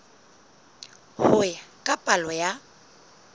ho ya ka palo ya